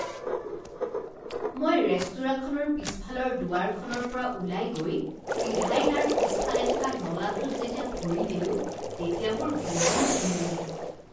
মই ৰেস্তোৰাঁখনৰ পিছফালৰ দুৱাৰখনৰ পৰা ওলাই গৈ চিধাই তাৰ পিছফালে থকা নলাটোত যেতিয়া ভৰি দিলোঁ তেতিয়া মোৰ বহুত ঘিণ লাগিল।